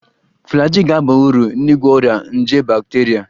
Flagyl ga-aba uru n'ịgwọ ọrịa nje bakteria